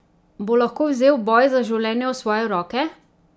Bo lahko vzel boj za življenje v svoje roke?